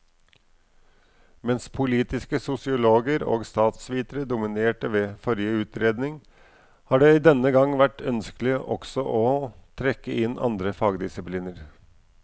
Mens politiske sosiologer og statsvitere dominerte ved forrige utredning, har det denne gang vært ønskelig også å trekke inn andre fagdisipliner.